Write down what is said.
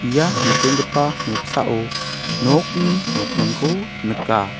ia nikenggipa noksao nokni nokningko nika.